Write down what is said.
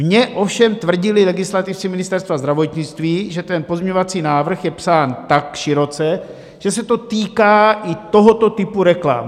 Mně ovšem tvrdili legislativci Ministerstva zdravotnictví, že ten pozměňovací návrh je psán tak široce, že se to týká i tohoto typu reklam.